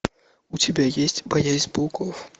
у тебя есть боязнь пауков